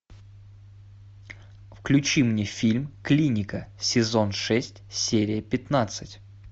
включи мне фильм клиника сезон шесть серия пятнадцать